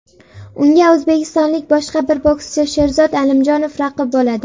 Unga o‘zbekistonlik boshqa bir bokschi Sherzod Alimjonov raqib bo‘ladi.